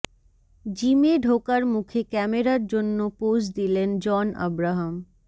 জিমে ঢোকার মুখে ক্যামেরার জন্য পোজ দিলেন জন আব্রাহাম